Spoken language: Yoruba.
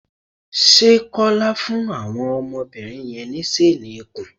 Ṣé Kọ́lá fún àwọn ọmọbìnri yẹn ní ṣéénì ikùn?